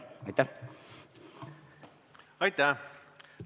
Aitäh!